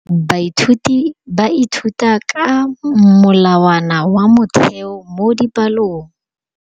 Baithuti ba ithuta ka molawana wa motheo mo dipalong.